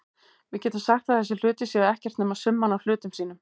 Við getum sagt að þessir hlutir séu ekkert nema summan af hlutum sínum.